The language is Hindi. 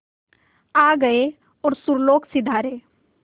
आ गए और सुरलोक सिधारे